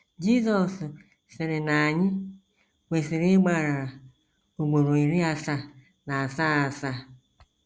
Jizọs sịrị na anyị kwesịrị ịgbaghara “ ugboro iri asaa na asaa asaa ”